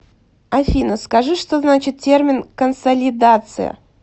афина скажи что значит термин консолидация